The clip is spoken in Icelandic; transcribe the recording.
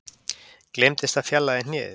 Gleymdist að fjarlægja hnéð